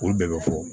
Olu bɛɛ bɛ fɔ